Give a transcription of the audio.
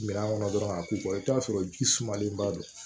Minan kɔnɔ dɔrɔn ka k'u kɔ i bi t'a sɔrɔ ji sumalenba don